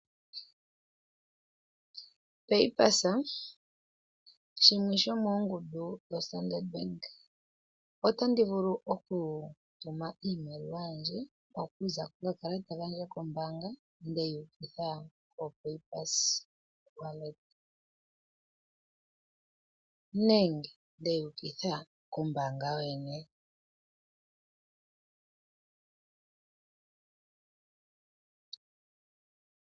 Paypulse shimwe shomoongundu dhaStandard Bank. Otandi vulu okutuma iimaliwa yandje okuza kokakalata kandje kombaanga nde yi ukitha kopaypulse wallet nenge ndeyi ukitha kombaanga yoyene.